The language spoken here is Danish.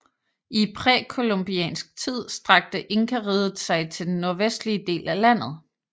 I præcolumbiansk tid strakte Inkariget sig til den nordvestlige del af landet